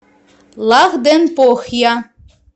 лахденпохья